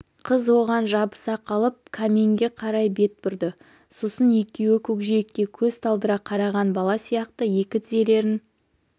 қыз оған жабыса қалып каминге қарай бет бұрды сосын екеуі көкжиекке көз талдыра қараған бала сияқты екі тізелерін